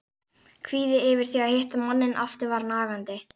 Kvíðinn yfir því að hitta manninn aftur var nagandi.